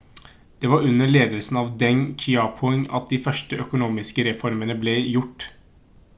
det var under ledelsen av deng xiaoping at de første økonomiske reformene ble gjort